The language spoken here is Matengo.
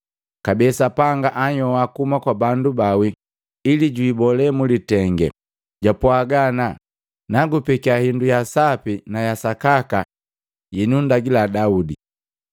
Kabee Sapanga heanhyoa kuhuma kwa bandu baawi ili jwiibole mulitenge, jwapwaga ana, “Naakupekia hindu ya sapi na yasakaka yenundagila Daudi.”